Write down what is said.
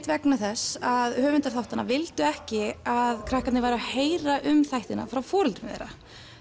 vegna þess að höfundar þáttanna vildu ekki að krakkarnir væru að heyra um þættina frá foreldrum þeirra